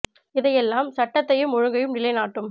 இதை எல்லாம் சட்டத்தையும் ஒழுங்கையும் நிலை நாட்டும்